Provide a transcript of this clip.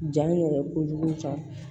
Ja in yɛrɛ kojugu